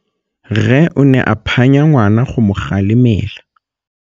Rre o ne a phanya ngwana go mo galemela.